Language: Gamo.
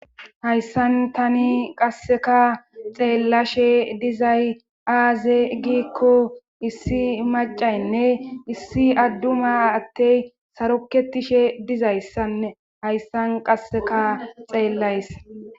hayssan tani qasseka xeellashe dizay aaze giikko issi macaynne issi adduma attey saroketishe dizayssane hayssan qasseka xeellays